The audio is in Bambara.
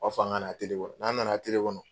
Ba fɔ an ŋa na kɔrɔ. N'an nana kɔnɔ